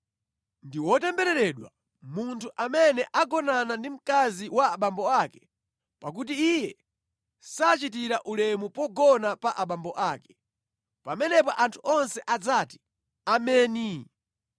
“Ndi wotembereredwa munthu amene agonana ndi mkazi wa abambo ake pakuti iye sachitira ulemu pogona pa abambo ake.” Pamenepo anthu onse adzati, “Ameni!”